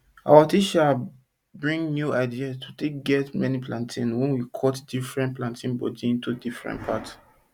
our teacher bring new idea to take get many plantain when we cut different plantain body into different part